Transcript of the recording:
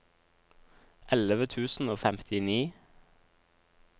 elleve tusen og femtini